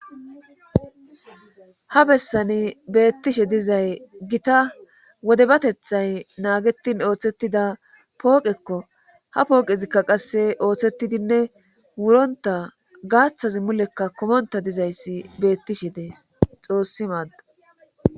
Ha bessani beettishshe dizay gita wodebateththay naagetin ooththettida pooqekko ha pooqezikka qasse ooththettidinne wuronta gaaththazi mulekka kumonta dizayssi beettishshe dees xoossi maaddo